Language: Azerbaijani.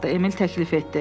Emil təklif etdi.